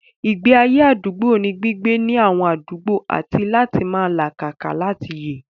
Ìgbé ayé àdúgbò ní gbígbé ní àwọn àdúgbò àti láti máa làkàkà láti yè